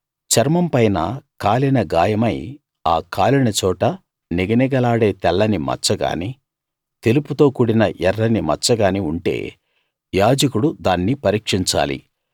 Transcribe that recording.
చర్మంపైన కాలిన గాయమై ఆ కాలిన చోట నిగనిగలాడే తెల్లని మచ్చ కానీ తెలుపుతో కూడిన ఎర్రని మచ్చగానీ ఉంటే యాజకుడు దాన్ని పరీక్షించాలి